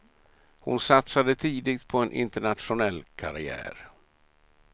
Hon satsade tidigt på en internationell karriär.